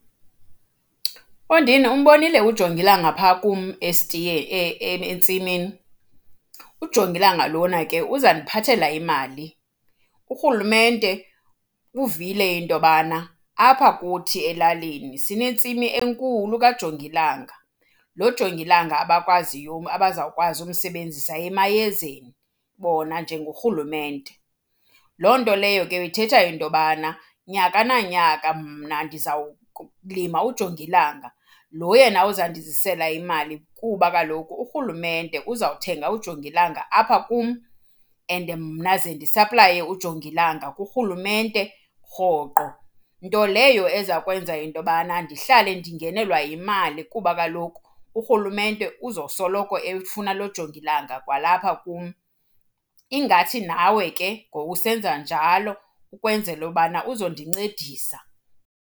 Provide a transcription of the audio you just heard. Mfondini, umbonile ujongilanga phaa kum entsimini? Ujongilanga lona ke uzandiphathela imali. Urhulumente uvile into yobana apha kuthi elalini sinentsimi enkulu kajongilanga, lo jongilanga abakwaziyo, abazawukwazi ukumsebenzisa emayezeni bona njengorhulumente. Loo nto leyo ke ithetha into yobana nyaka nanyaka mna ndiza kulima ujongilanga, lo yena uzandizisela imali kuba kaloku urhulumente uzawuthenga ujongilanga apha kum and mna ze ndisaplaye ujongilanga kurhulumente rhoqo. Nto leyo eza kwenza into yobana ndihlale ndingenelwa yimali kuba kaloku urhulumente uzosoloko efuna lo jongilanga kwalapha kum. Ingathi nawe ke ngowusenza njalo ukwenzela ubana uzondincedisa.